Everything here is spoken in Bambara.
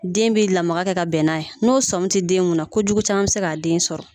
Den bɛ lamaga kɛ ka bɛn n'a ye n'o sɔmi tɛ den mun na na kojugu caman bɛ se k'a den sɔrɔ